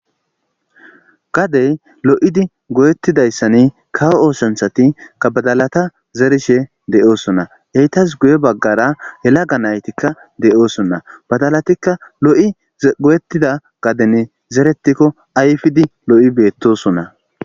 Gadey lo'id goyettidayissan kawo oosanchchati badala zarishshe de'osonna etas guye baggara yelaga nati de'osonna badalatikka lo'i goyetida gaden zeretikko lo'i ayfid betosona